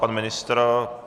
Pan ministr?